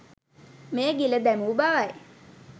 මෙය ගිල දැමූ බවයි.